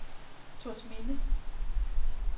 Thorsminde